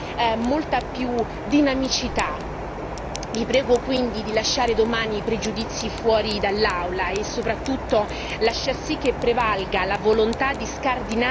Vi prego quindi di lasciare domani i pregiudizi fuori dall'Aula e soprattutto far sì che prevalga la volontà di scardinare gli stereotipi e l'arretratezza culturale.